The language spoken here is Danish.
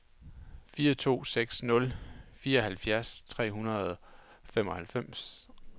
fire to seks nul fireoghalvfjerds tre hundrede og femoghalvfjerds